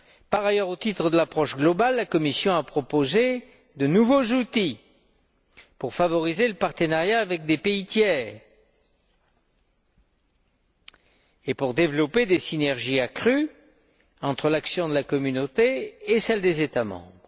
Par ailleurs, au titre de l'approche globale, la Commission a proposé de nouveaux outils pour favoriser le partenariat avec des pays tiers et pour développer des synergies accrues, entre l'action de la Communauté et celle des États membres.